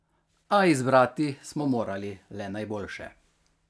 A izbrati smo morali le najboljše.